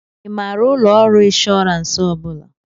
Ị maara ụlọ ọrụ ịnshọransị ọ bụla?